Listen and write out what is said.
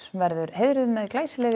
verður heiðruð með glæsilegri